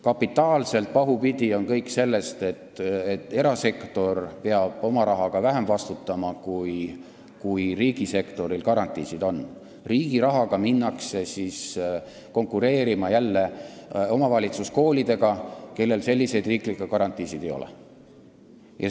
Kapitaalselt pahupidi on kõik, alates sellest, et erasektor peab oma rahaga vähem vastutama, kui riigisektoril garantiisid on, ning riigi raha abil minnakse jälle konkureerima omavalitsuskoolidega, kellel selliseid riiklikke garantiisid ei ole.